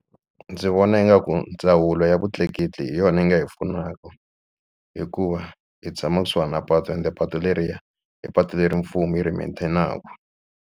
Ndzi vona ingaku ndzawulo ya vutleketli hi yona yi nga hi pfunaka hikuva hi tshama kusuhana na patu ende patu leriya i patu leri mfumo yi ri maintain-naku.